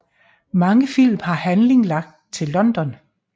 Mange film har handling lagt til London